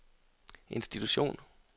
institution